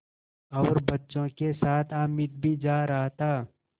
और बच्चों के साथ हामिद भी जा रहा था